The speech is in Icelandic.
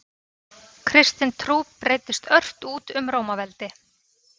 Kristin trú breiddist ört út um Rómaveldi.